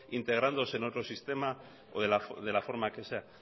integrándose en otro sistema o de la forma que sea